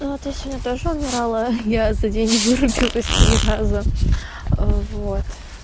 вот я сегодня тоже умирала я за день вырубилась три раза вот